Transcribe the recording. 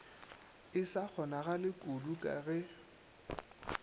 e sa kgonagalekudu ka ge